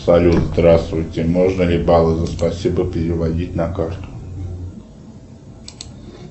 салют здравствуйте можно ли баллы за спасибо переводить на карту